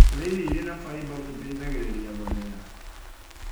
Kũrĩa irio irĩ na faiba itaithagĩrĩria gũthĩa